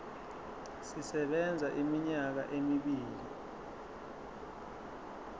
sisebenza iminyaka emibili